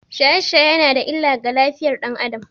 Shaye-shaye yana da illa ga lafiyar ɗan Adam